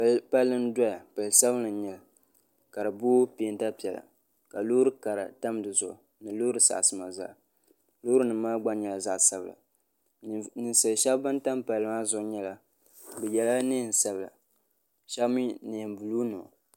palli n doya pali sabinli n nyɛli ka di booi peenta piɛla loori kara tam dizuɣu ni loori saɣasima zaa loori nim maa gba nyɛla zaɣ sabila ninsal shab ban tam palli maa zuɣu yɛla neen sabila shab mii neen buluu nima